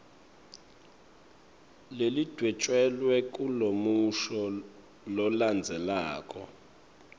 lelidvwetjelwe kulomusho lolandzelako